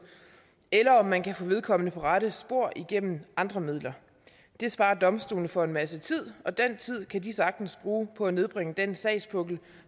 og om man kan få vedkommende på rette spor igennem andre midler det sparer domstolene for en masse tid og den tid kan de sagtens bruge på at nedbringe den sagspukkel